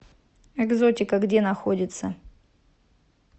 экзотика где находится